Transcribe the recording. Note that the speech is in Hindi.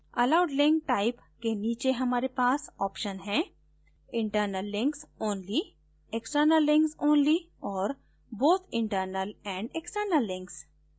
allowed link type के नीचे हमारे पास options हैं internal links only external links only और both internal and external links